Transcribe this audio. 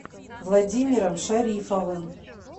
владимиром шарифовым